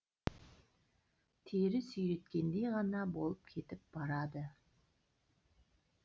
тері сүйреткендей ғана болып кетіп барады